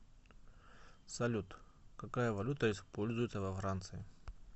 салют какая валюта используется во франции